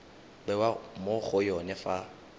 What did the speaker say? bewa mo go yone fa